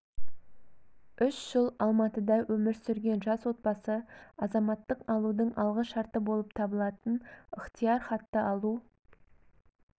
үш жыл алматыда өмір сүрген жас отбасы азаматтық алудың алғы шарты болып табылатын ықтияр хатты алу